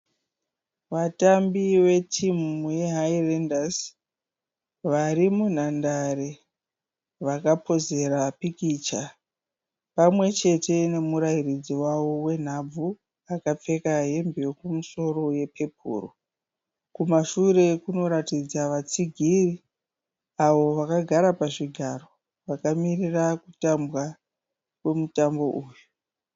Vatambi vetimu yeHighlanders. Vari munhandare vakapozera pikicha pamwe chete nemurairidzi wavo wenhabvu akapfeka hembe yekumusoro yepepuro. Kumashure kunoratidza vatsigiri avo vakagara pazvigaro vakamirira kutambwa kwemutambo uyu.